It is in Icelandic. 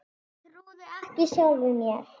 Ég trúði ekki sjálfum mér.